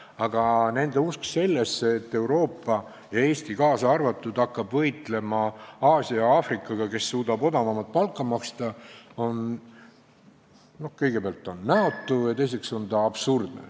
Aga nende usk sellesse, et Euroopa, kaasa arvatud Eesti, hakkab võitlema Aasia ja Aafrikaga, kes suudavad maksta väiksemat palka, on kõigepealt näotu ja teiseks absurdne.